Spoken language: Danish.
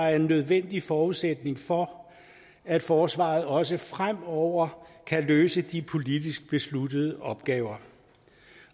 er en nødvendig forudsætning for at forsvaret også fremover kan løse de politisk besluttede opgaver